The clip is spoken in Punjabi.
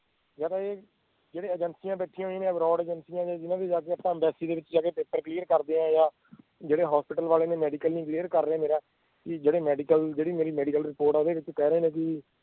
ਯਾਰ ਇਹ ਜਿਹੜੇ ਏਜੇਂਸੀਆਂ ਬੈਠੀਆਂ ਹੋਇਆ ਨੇ abroad ਏਜੇਂਸੀਆਂ ਜਿਹਨਾਂ ਵਿਚ ਆਪਾਂ embassy ਦੇ ਵਿਚ ਜਾ ਕੇ ਪੇਪਰ clear ਕਰਦੇ ਆਂ ਜਾਂ ਜਿਹੜੇ ਹਸਪਤਾਲ ਵਾਲੇ ਮੇਰਾ medical ਨੀ clear ਕਰ ਰਹੇ ਮੇਰਾ ਵੀ ਜਿਹੜੇ ਮੇਰਾ medical ਜਿਹੜੀ ਮੇਰੀ medical report ਆ ਓਹਦੇ ਵਿਚ ਕਹਿ ਰਹੇ ਨੇ ਕਿ